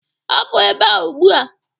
Hapụ ebe a ugbu a!